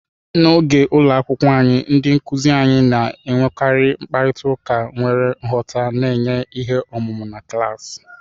N'oge ụlọ akwụkwọ anyị, ndị nkuzi anyị na-enwekarị mkparịta ụka nwere nghọta, na-enye ihe ọmụma na klaasị.